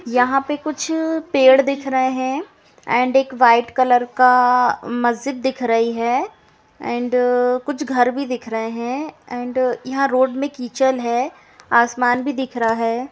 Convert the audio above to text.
यहाँ पे कुछ पेड़ दिख रहे हैं एंड व्हाइट कलर का मस्जिद दिख रही है एंड कुछ घर भी दिख रहे हैं एंड यहां रोड में कीचल है आसमान भी दिख रहा है।